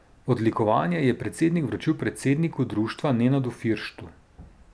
Odlikovanje je predsednik vročil predsedniku društva Nenadu Firštu.